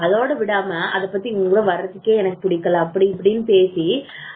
அதோட விடாம அதை பத்தி உங்க கூட வர்றதுக்கே எனக்கு புடிக்கல அப்படி இப்படின்னு பேசி